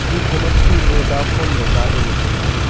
dingkho ma chu vodafone ley zaley ley tailey.